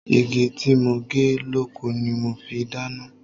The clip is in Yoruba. Igi tí mo gé lóko ni mo fi dáná.